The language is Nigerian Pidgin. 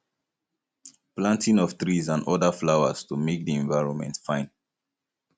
planting of trees and oda flowers to make di environment fine